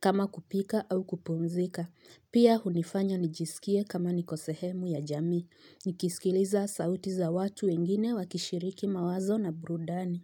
kama kupika au kupumzika. Pia unifanya nijisikie kama niko sehemu ya jamii. Nikisikiliza sauti za watu wengine wakishiriki mawazo na burudani.